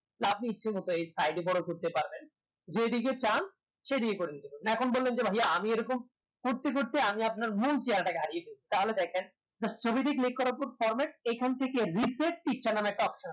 আপনি ইচ্ছা মতো side এ বোরো করতে পারবেন যেই দিকে চান সেই দিকে করে নিতে পারবেন এখন বলেন যে ভাইয়া আমি এরকম করতে করতে মি আপনার মূল চেহেরা হারিয়ে ফেলেছি থলে দেখেন ছবিতে click করার পর format এখন থেকে reset নাম একটা option আছে